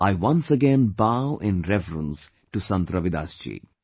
I once again bow in reverence to Sant Ravidas ji